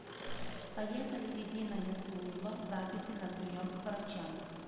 поехали единая служба записи на прием к врачам